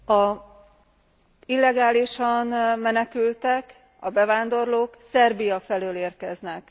Az illegálisan menekültek, a bevándorlók Szerbia felől érkeznek.